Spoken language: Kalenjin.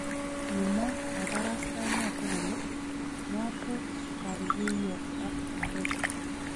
Kimwo kabarastaenoto kole: "Mato gargeiyo ak Drake".